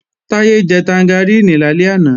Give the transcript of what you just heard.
Táyé jẹ tangaríìnì lálẹ́ àná